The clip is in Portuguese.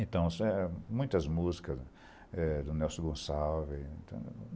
Então, muitas músicas é do Nelson Gonçalves.